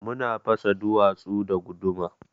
Muna fasa duwatsu da guduma.